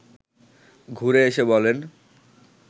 ঘুরে এসে বলেন